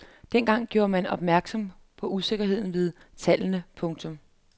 Dengang gjorde man opmærksom på usikkerheden ved tallene. punktum